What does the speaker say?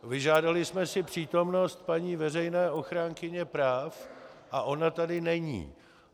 Vyžádali jsme si přítomnost paní veřejné ochránkyně práv a ona tady není!